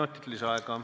Kolm minutit lisaaega.